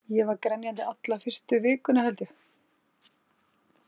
Ég var grenjandi alla fyrstu vikuna, held ég.